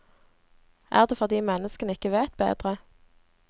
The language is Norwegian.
Er det fordi menneskene ikke vet bedre?